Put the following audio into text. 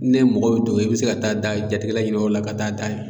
Ne mɔgɔ be dogo i bɛ se ka taa da jatigila ɲini o la ka taa da ye.